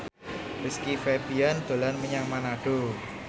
Rizky Febian dolan menyang Manado